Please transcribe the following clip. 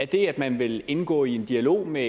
det at man vil indgå i en dialog med